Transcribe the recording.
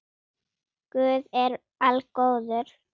Guð er algóður